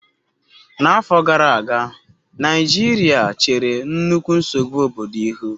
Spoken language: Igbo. n'afo gara aga, naijiria chere nnukwu nsogbu obodo ihu